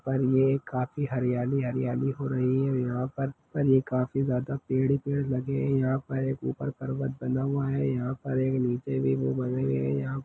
और ये काफी हरियाली-हरियाली हो रही है यहाँ पर पर काफी ज्यादा पेड़-पेड़ लगे है यहाँ पर एक ऊपर पर्वत बंधा हुआ है यहाँ पर एक नीचे भी वो बने हुए है।